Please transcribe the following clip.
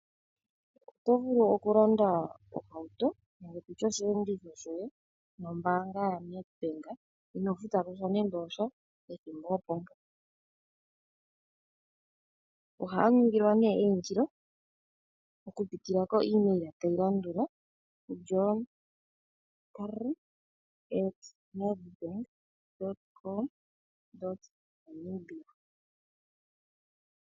Oto vulu okulanda ohauto, ano osheenditho shoye nombaanga yaNedbank ino futa ko sha nando osha pethimbo opo mpo. Ohaya ningilwa nduno eindilo okupitila koemaila tayi landula: JohnTr@Nedbank.com.na.